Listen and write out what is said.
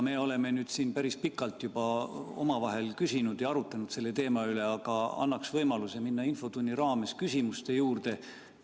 Me oleme siin päris pikalt nüüd omavahel küsinud ja arutlenud selle teema üle, aga annaks võimaluse minna infotunni raames küsimuste juurde.